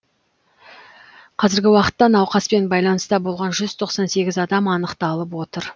қазіргі уақытта науқаспен байланыста болған жүз тоқсан сегіз адам анықталып отыр